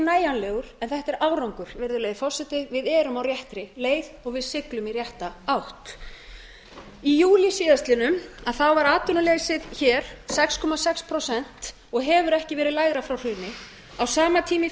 nægjanlegur en þetta er árangur virðulegi forseti við erum á réttri leið og við siglum í rétta átt í júlí síðastliðinn var atvinnuleysið hér sex komma sex prósent og hefur ekki verið lægra frá hruni á sama tíma í